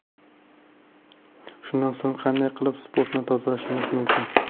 Shundan so‘ng qanday qilib sportni tozalashimiz mumkin?